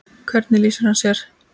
Hvernig lýsir hann sér?